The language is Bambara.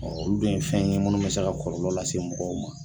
Ɔ olu bɛ ye fɛnɲɛnaminw ye mlnnu bɛ se ka kɔlɔlɔ lase mɔgɔw ma